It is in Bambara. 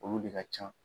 Olu de ka ca